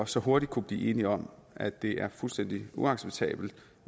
så hurtigt kunne blive enige om at det er fuldstændig uacceptabelt